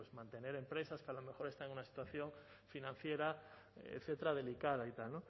mantener empresas que a lo mejor están en una situación financiera etcétera delicada y tal